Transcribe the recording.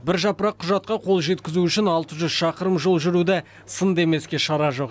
бір жапырақ құжатқа қол жеткізу үшін алты жүз шақырым жол жүруді сын демеске шара жоқ